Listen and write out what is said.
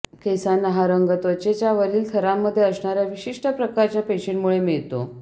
केसांना हा रंग त्वचेच्या वरील थरामध्ये असणाऱ्या विशिष्ट प्रकारच्या पेशींमुळे मिळतो